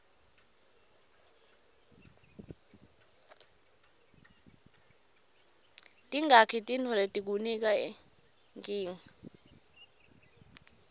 tingaki tifuntfo letikunika nkinga